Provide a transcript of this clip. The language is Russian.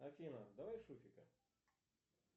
афина давай шуфика